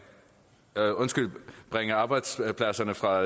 bringe arbejdspladserne fra